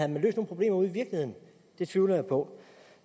nogen problemer ude i virkeligheden det tvivler jeg på